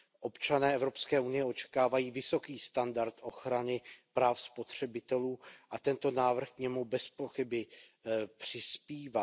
Občané Evropské unie očekávají vysoký standard ochrany práv spotřebitelů a tento návrh k němu bezpochyby přispívá.